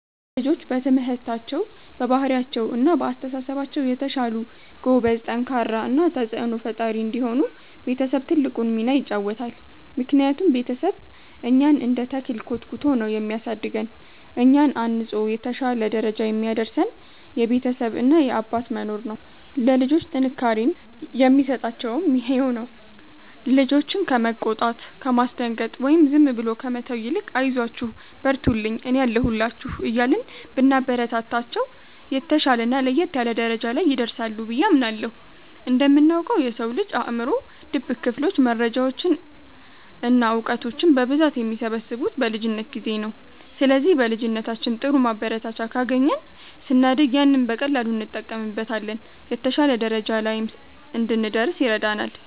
ልጆች በትምህርታቸው፣ በባህሪያቸው እና በአስተሳሰባቸው የተሻሉ፣ ጎበዝ፣ ጠንካራ እና ተጽዕኖ ፈጣሪ እንዲሆኑ ቤተሰብ ትልቁን ሚና ይጫወታል። ምክንያቱም ቤተሰብ እኛን እንደ ተክል ኮትኩቶ ነው የሚያሳድገን፤ እኛን አንጾ የተሻለ ደረጃ የሚያደርሰን የቤተሰብ እና የአባት መኖር ነው። ለልጆች ጥንካሬን የሚሰጣቸውም ይሄው ነው። ልጆችን ከመቆጣት፣ ከማስደንገጥ ወይም ዝም ብሎ ከመተው ይልቅ 'አይዟችሁ፣ በርቱልኝ፣ እኔ አለሁላችሁ' እያልን ብናበረታታቸው፣ የተሻለና ለየት ያለ ደረጃ ላይ ይደርሳሉ ብዬ አምናለሁ። እንደምናውቀው፣ የሰው ልጅ አእምሮ ድብቅ ክፍሎች መረጃዎችን እና እውቀቶችን በብዛት የሚሰበስቡት በልጅነት ጊዜ ነው። ስለዚህ በልጅነታችን ጥሩ ማበረታቻ ካገኘን፣ ስናድግ ያንን በቀላሉ እንጠቀምበታለን፤ የተሻለ ደረጃ ላይም እንድንደርስ ይረዳናል።